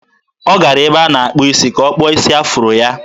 Ọ gara ebe a na-akpụ isi ka a kpụọ isi afuro ya.